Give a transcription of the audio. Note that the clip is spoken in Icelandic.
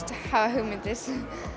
hugmyndir